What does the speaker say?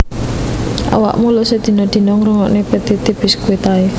Awakmu lho sedina dina ngrungokno Petite Biscuit ae